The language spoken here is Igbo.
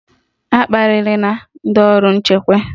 Akparịla ndị ọrụ nchekwa!